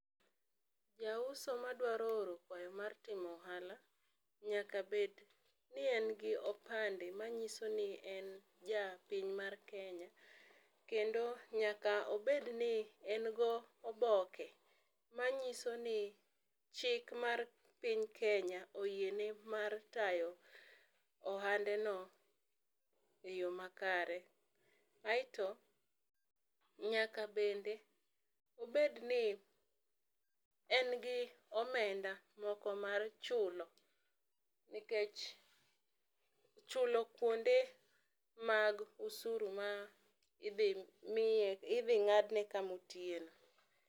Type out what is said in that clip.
Jauso ma dwaro oro kwayo mar timo ohala nyaka bed ni en gi opande ma ng'iso ni en ja piny mar Kenya, kendo nyaka obed ni en gi oboke ma ng'iso ni chik mar piny Kenya oyie ne mar tayo ohande no e yo makare. aito nyaka bed obed ni en gi omenda moko mar chulo nikech chulo kuonde mag osuru ma idhi miye idhi ng'adne ka ma otiye no.